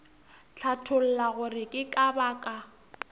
hlatholla gore ke ka baka